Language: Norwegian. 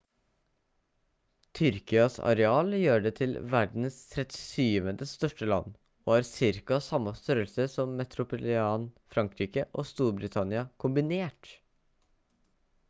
tyrkias areal gjør det til verdens trettisyvende største land og har cirka samme størrelse som metropolitan frankrike og storbritannia kombinert